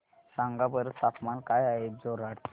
सांगा बरं तापमान काय आहे जोरहाट चे